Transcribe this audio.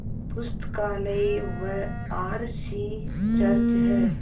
पुस्तकालय व R C church हैं